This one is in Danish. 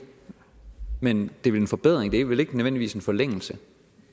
men det er vel en forbedring det er vel ikke nødvendigvis en forlængelse